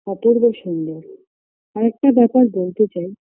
অপূর্ব সুন্দর আরেকটা ব্যাপার বলতে চাই